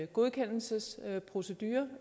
godkendelsesproceduren